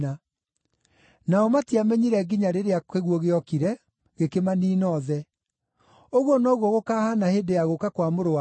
nao matiamenyire nginya rĩrĩa kĩguũ gĩokire, gĩkĩmaniina othe. Ũguo noguo gũkahaana hĩndĩ ya gũũka kwa Mũrũ wa Mũndũ.